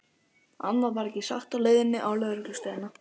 Annað var ekki sagt á leiðinni á lögreglustöðina.